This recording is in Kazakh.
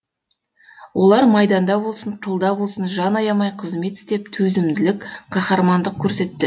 олар майданда болсын тылда болсын жан аямай қызмет істеп төзімділік қаһармандық көрсетті